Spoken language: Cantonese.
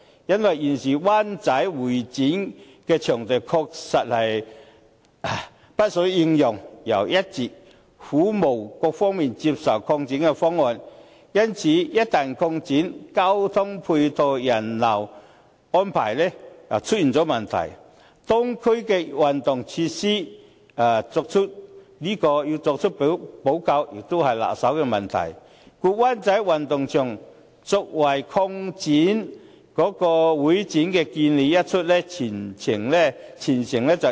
現時灣仔香港會議展覽中心的場地確實不敷應用，但一直苦無各方面接受的擴展方案，一旦擴展，交通配套、人流安排就會出現問題，而如何就當區的運動場設施作出補救，亦是棘手的問題，故灣仔運動場用作會展擴建的建議一出，全城熱議。